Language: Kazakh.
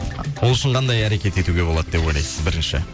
ол үшін қандай әрекет етуге болады деп ойлайсыз бірінші